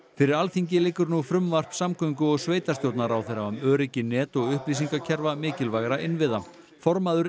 fyrir Alþingi liggur nú frumvarp samgöngu og sveitastjórnarráðherra um öryggi net og upplýsingakerfa mikilvægra innviða formaður